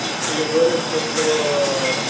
так это я говорю что что